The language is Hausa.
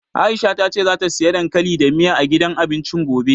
Aisha ta ce zata siya dankali da miya, a gidan abincin gobe.